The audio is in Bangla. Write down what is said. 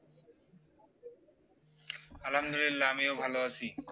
আল্লাহামদুল্লিলাহ আমিও ভালো আছি